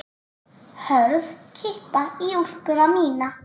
Hörð kippa í úlpuna mína.